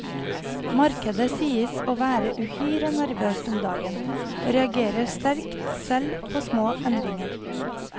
Markedet sies å være uhyre nervøst om dagen, og reagerer sterkt selv på små endringer.